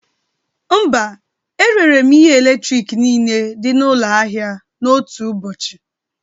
Mba, erere m ihe eletrik niile dị n'ụlọ ahịa n'otu ụbọchị